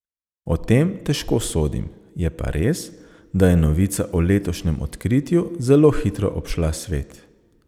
O tem težko sodim, je pa res, da je novica o letošnjem odkritju zelo hitro obšla svet.